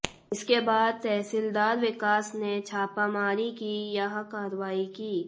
इसके बाद तहसीलदार विकास ने छापामारी की यह कार्रवाई की